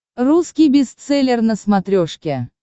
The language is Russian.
русский бестселлер на смотрешке